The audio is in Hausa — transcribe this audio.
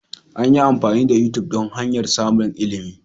An yi amfani da YouTube don hanyar samun ilimi.